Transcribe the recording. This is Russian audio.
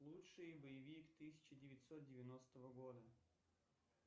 лучший боевик тысяча девятьсот девяностого года